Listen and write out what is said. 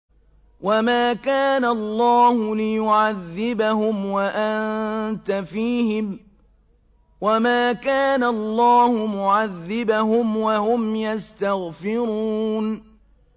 وَمَا كَانَ اللَّهُ لِيُعَذِّبَهُمْ وَأَنتَ فِيهِمْ ۚ وَمَا كَانَ اللَّهُ مُعَذِّبَهُمْ وَهُمْ يَسْتَغْفِرُونَ